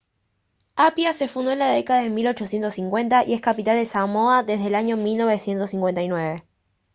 apia se fundó en la década de 1850 y es capital de samoa desde el año 1959